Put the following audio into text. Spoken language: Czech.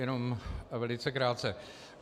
Jenom velice krátce.